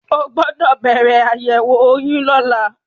O gbọ́dọ̀ bẹ̀rẹ̀ àyẹ̀wò oyún lọ́la.